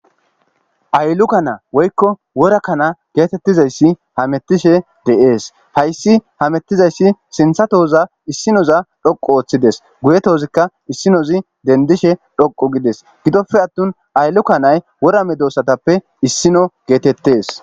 Aylluka na woykko wora kana geetettizayssi hamettishe deees hayssi hamettizayssi sintha tooza issinoza dhoqu ooththides guyetozikka issinozi dendishe dhoqu gides gidoppe attun aylluka nay wora medossatappe issino geetettes.